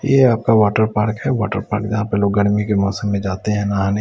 यह आपका water park है वाटर पार्क यहां पे लोग गर्मी के मौसम में जाते हैं नहाने।